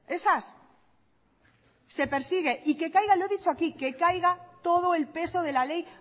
esas se persigue y que caiga lo he dicho aquí que caiga todo el peso de la ley